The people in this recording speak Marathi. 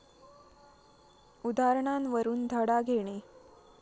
उदाहरणांवरून धडा घेणे